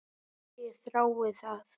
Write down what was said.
Ég þrái það.